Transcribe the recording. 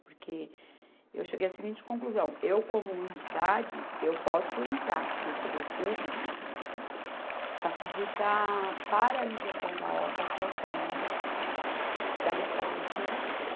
Porque eu cheguei à seguinte conclusão, eu como uma entidade, eu posso entrar pelo poder público para pedir para a paralisação da obra até o término da retirada dos moradores.